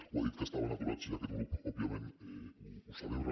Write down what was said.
ho ha dit que estaven aturats i aquest grup òbviament ho celebra